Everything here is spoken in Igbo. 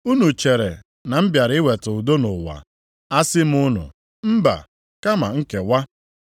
Unu chere na m bịara iweta udo nʼụwa? Asị m unu mbaa, kama nkewa.